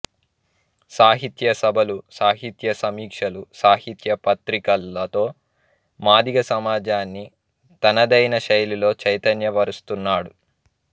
సాహిత్య సభలు సాహిత్య సమీక్షలు సాహిత్య పత్రికలతో మాదిగ సమాజాన్ని తనదైన శైలిలో చైతన్య పరుస్తున్నాడు